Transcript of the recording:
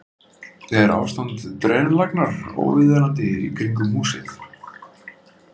Er ástand drenlagnar óviðunandi í kringum húsið?